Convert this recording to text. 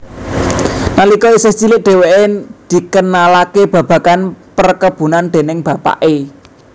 Nalika isih cilik dheweke dikenalake babagan perkebunan déning bapake